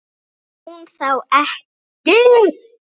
Er hún þá ekki?